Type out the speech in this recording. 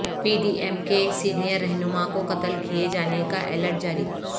پی D M کے senior رہنما کو قتل کیے جانے کا الرٹ جاری